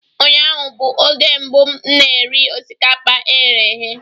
Ụnyaahụ bụ oge mbụ m na-eri osikapa e ghere eghe